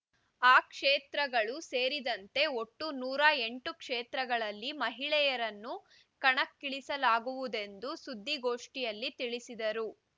ಆ ಕ್ಷೇತ್ರಗಳು ಸೇರಿದಂತೆ ಒಟ್ಟು ನೂರ ಎಂಟು ಕ್ಷೇತ್ರಗಳಲ್ಲಿ ಮಹಿಳೆಯರನ್ನು ಕಣಕ್ಕಿಳಿಸಲಾಗುವುದೆಂದು ಸುದ್ದಿಗೋಷ್ಠಿಯಲ್ಲಿ ತಿಳಿಸಿದರು